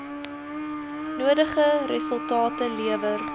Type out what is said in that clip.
nodige resultate lewer